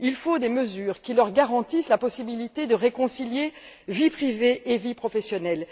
Il faut des mesures qui leur garantissent la possibilité de réconcilier vie privée et vie professionnelle.